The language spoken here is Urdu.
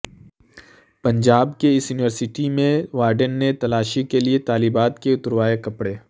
پنجاب کی اس یونیورسیٹی میں وارڈن نے تلاشی کے لئے طالبات کے اتروائے کپڑے